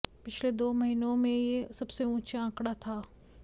पिछले दो महीनों में यह सबसे ऊंचा आंकड़ा था